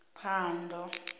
phando